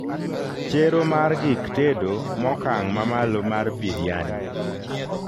chero mar gik tedo mokang mamalo mar biryani